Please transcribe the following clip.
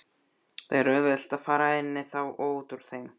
Það er auðvelt að fara inní þá og útúr þeim.